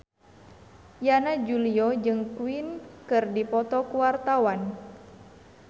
Yana Julio jeung Queen keur dipoto ku wartawan